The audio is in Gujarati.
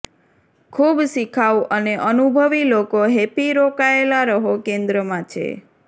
ખૂબ શિખાઉ અને અનુભવી લોકો હેપી રોકાયેલા રહો કેન્દ્રમાં છે